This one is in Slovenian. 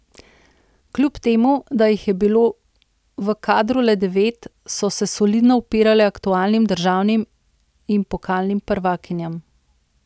Kljub temu, da jih je bilo v kadru le devet, so se solidno upirale aktualnim državnim in pokalnim prvakinjam.